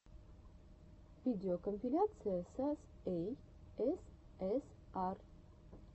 видеокомпиляция сас эй эс эс ар